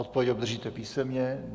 Odpověď obdržíte písemně.